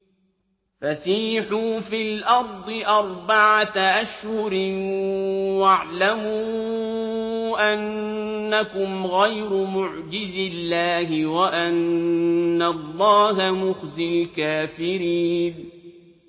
فَسِيحُوا فِي الْأَرْضِ أَرْبَعَةَ أَشْهُرٍ وَاعْلَمُوا أَنَّكُمْ غَيْرُ مُعْجِزِي اللَّهِ ۙ وَأَنَّ اللَّهَ مُخْزِي الْكَافِرِينَ